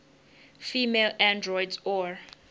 female androids or